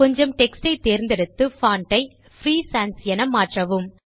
கொஞ்சம் டெக்ஸ்ட் யை தேர்ந்தெடுத்து பான்ட் வை பிரீ சான்ஸ் என மாற்றவும்